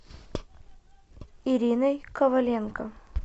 ириной коваленко